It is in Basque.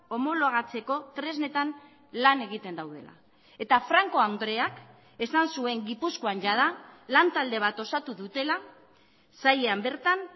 homologatzeko tresnetan lan egiten daudela eta franco andreak esan zuen gipuzkoan jada lantalde bat osatu dutela sailean bertan